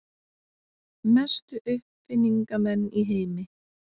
Mestu uppfinningamenn í heimi.